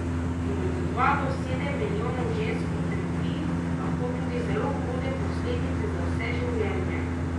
In od dva do sedem milijonov žensk utrpi, lahko tudi zelo hude, posledice za vse življenje.